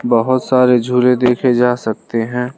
बहोत सारे झूले देखे जा सकते हैं।